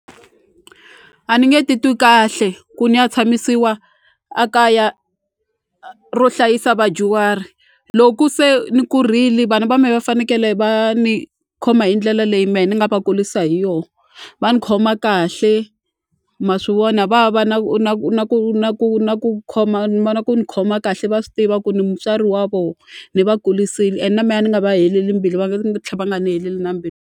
A ni nge titwi kahle ku ni ya tshamisiwa a kaya ro hlayisa vadyuhari loko se ni kurile vana va mina va fanekele va ni khoma hi ndlela leyi me ni nga va kulisa hi yo va ni khoma kahle ma swi vona va va na ku na ku na ku na ku na ku khoma ni vona ku ni khoma kahle va swi tiva ku ni mutswari wa vo ni va kurisini and na me a ni nga va heleli mbilu va nga va nga ni heleli na mbilu.